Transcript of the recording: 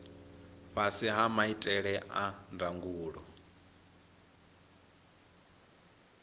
fhasi ha maitele a ndangulo